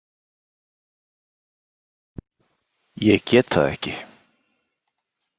Ég get það ekki.